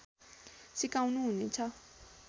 सिकाउनु हुनेछ